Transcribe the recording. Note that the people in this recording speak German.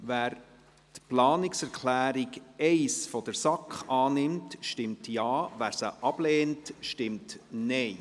Wer die Planungserklärung 1 der SAK annimmt, stimmt Ja, wer sie ablehnt, stimmt Nein.